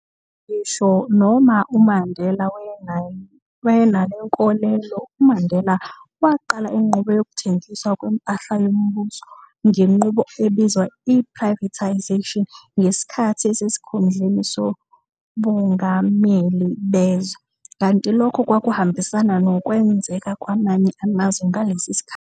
Ngisho noma uMandela wayenale nkolelo, uMandela waqala inqubo yokuthengiswa kwempahla yombuso, ngenqubo ebizwa i-privatisation ngesikhathi esesikhundleni sobungameli bezwe, kanti lokhu kwakuhambisana nokwenzeka kwamanye amazwe ngalesi sikhathi.